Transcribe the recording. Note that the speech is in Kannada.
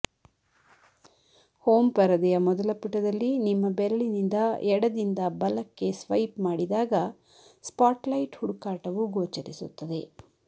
ಹೋಮ್ ಪರದೆಯ ಮೊದಲ ಪುಟದಲ್ಲಿ ನಿಮ್ಮ ಬೆರಳಿನಿಂದ ಎಡದಿಂದ ಬಲಕ್ಕೆ ಸ್ವೈಪ್ ಮಾಡಿದಾಗ ಸ್ಪಾಟ್ಲೈಟ್ ಹುಡುಕಾಟವು ಗೋಚರಿಸುತ್ತದೆ